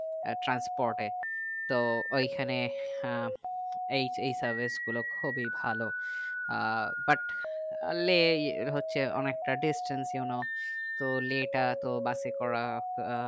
এ transport এ তো ঐখানে আহ এই এই service গুলো খুবই ভালো আহ but আর লে এর হচ্ছে অনেকটা distance you know তো let আয়া তো বাসে করে